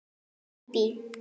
Þín Bíbí.